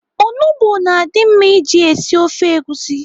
Onugbo na-adị mma iji esi ofe egusi.